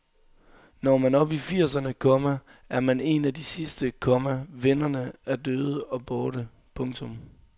Når man op i firserne, komma er man en af de sidste, komma vennerne er døde og borte. punktum